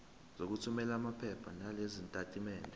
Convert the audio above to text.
sokuthumela lamaphepha nalezitatimendi